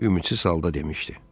Ümidsiz halda demişdi.